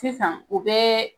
Sisan u bɛ